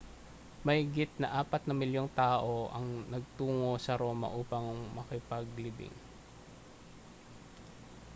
mahigit sa apat na milyong tao ang nagtungo sa roma upang makipaglibing